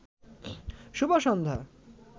শুভ সন্ধ্যা